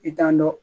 I t'an dɔn